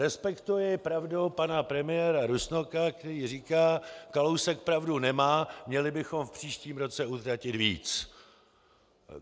Respektuji pravdu pana premiéra Rusnoka, který říká: Kalousek pravdu nemá, měli bychom v příštím roce utratit víc.